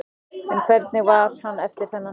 En hvernig var hann eftir þann leik?